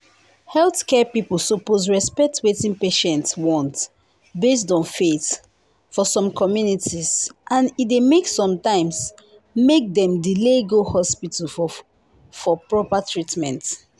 healthcare people suppose respect wetin patients want based on faith for some communities and e dey sometimes make dem delay go hospital for for proper treatment